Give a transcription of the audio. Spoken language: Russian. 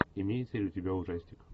имеется ли у тебя ужастик